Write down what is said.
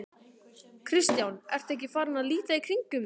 Kristján: Ertu ekki farinn að líta í kringum þig?